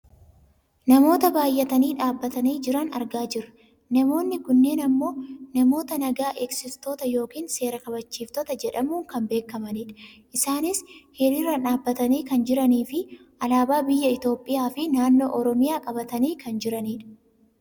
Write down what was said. Namoota baayyatanii dhaabbatanii jiran argaa jirra. Namoonni kunneen ammoo namoota naga eegsiftoota yookaan seera kabachiiftota jedhamuun kan beekkamanidha. Isaanis hiriiraan dhaabbatanii kan jiraniifi alaabaa biyya Itoopiyaa fi naannoo Oromiyaa qabatanii kan jiranidha.